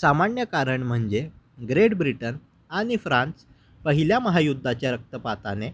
सामान्य कारण म्हणजे ग्रेट ब्रिटन आणि फ्रान्स पहिल्या महायुद्धाच्या रक्तपाताने